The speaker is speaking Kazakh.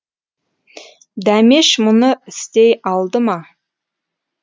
дәмеш мұны істей алды ма